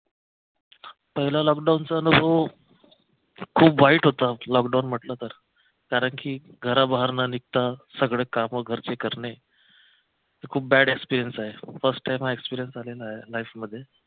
पहिला लॉकडाऊनचा अनुभव खूप वाईट होता लॉकडाऊन म्हटलं तर कारंकी घराबाहेर न निघता सगळं काम घरचे करणे खूप bad experience आहे first time हा experience आलेला आहे life मध्ये